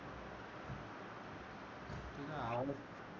तुझा आवाजच